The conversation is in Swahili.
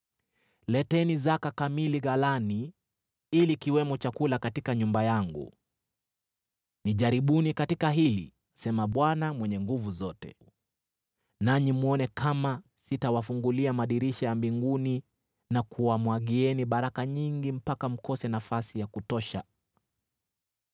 Leteni zaka kamili ghalani, ili kuwe na chakula katika nyumba yangu. Nijaribuni katika hili,” asema Bwana Mwenye Nguvu Zote, “nanyi mwone kama sitawafungulia madirisha ya mbinguni na kuwamwagieni baraka nyingi mpaka mkose nafasi ya kutosha.